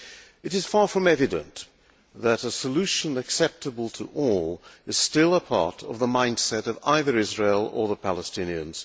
It is far from evident that a solution acceptable to all is still a part of the mindset of either Israel or the Palestinians.